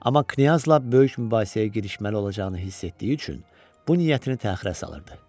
Amma Knyazla böyük mübahisəyə girişməli olacağını hiss etdiyi üçün bu niyyətini təxirə salırdı.